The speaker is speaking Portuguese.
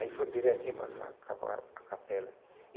Aí foram direitinho para cá para para a capela.